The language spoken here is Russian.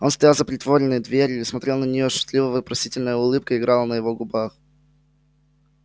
он стоял за притворенной дверью и смотрел на неё шутливо-вопросительная улыбка играла на его губах